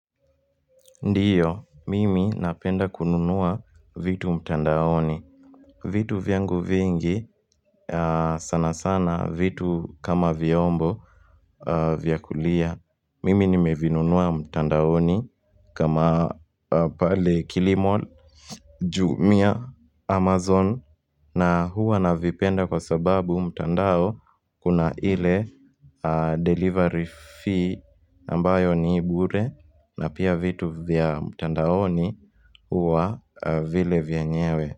Ndiyo, mimi napenda kununua vitu mtandaoni vitu vyangu vingi sana sana vitu kama vyombo vyakulia Mimi nimevinunua mtandaoni kama pale Kilimall Jumia Amazon na huwa navipenda kwa sababu mtandao Kuna ile delivery fee ambayo ni bure na pia vitu vya mtandaoni huwa vile vyenyewe.